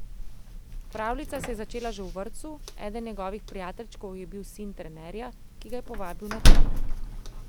Pravljica se je začela že v vrtcu, eden njegovi prijateljčkov je bil sin trenerja, ki ga je povabil na trening.